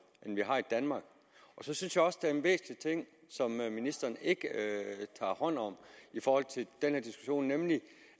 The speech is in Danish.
end de har i danmark jeg synes også det er en væsentlig ting hvad ministeren ikke tager hånd om i forhold til den her diskussion nemlig